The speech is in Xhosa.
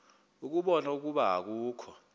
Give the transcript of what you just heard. ukubona ukuba akukho